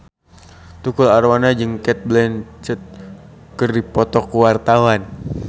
Tukul Arwana jeung Cate Blanchett keur dipoto ku wartawan